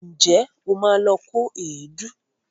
Ǹjẹ́ o ma lọ kó èédú?